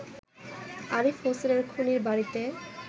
আরিফ হোসেনের খুনীর বাড়িতে